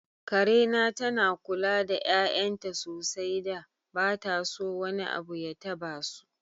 Karena tana kula da 'ya'yanta sosai da ba ta so wani abu ya tabasu.